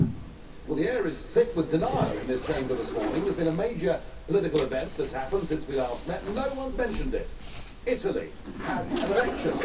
Mr President, the air is thick with denial in this Chamber this morning. There has been a major political event that has happened since we last met and no one has mentioned it Italy had an election.